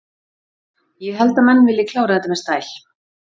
Ég held að menn vilji klára þetta með stæl.